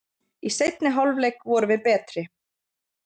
Í seinni hálfleik vorum við betri